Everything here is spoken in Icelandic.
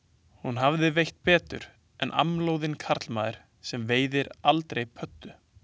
Hún hefði veitt betur en amlóðinn, karlmaður sem veiðir aldrei pöddu.